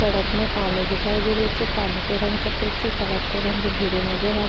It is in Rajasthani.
सड़क में पानी दिखाई दे रही छे पानी को रंग सफ़ेद छे सड़क को रंग भूरो नजर आ रो।